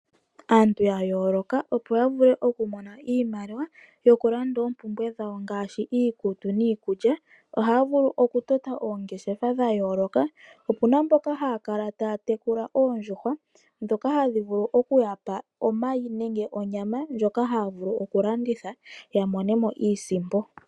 Aantu ya yooloka, opo ya mone Iimaliwa ya lande oompumbwe dhawo ngaashi iikutu niikulya ohaya vulu okutota oongeshefa dha yooloka. Ope na mboka haya tekula oondjuhwa ya mone omayi nenge onyama ya landithe yo ya mone iisimpo.